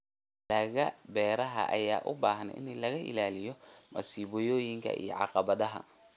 Dalagga beeraha ayaa u baahan in laga ilaaliyo masiibooyinka iyo caqabadaha.